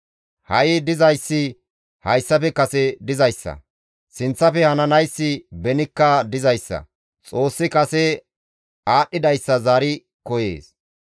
Ha7i dizayssi hayssafe kasekka dizayssa; sinththafe hananayssi benikka dizayssa; Xoossi kase aadhdhidayssa zaari koyees.